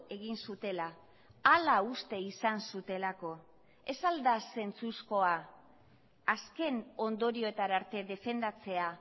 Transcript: egin zutela hala uste izan zutelako ez al da zentzuzkoa azken ondorioetara arte defendatzea